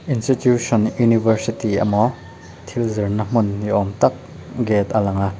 institution university emaw thil zirna hmun ni awm tak gate a lang a.